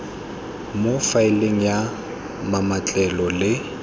mo faeleng ya mametlelelo le